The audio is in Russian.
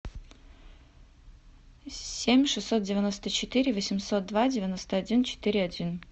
семь шестьсот девяносто четыре восемьсот два девяносто один четыре один